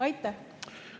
Aitäh!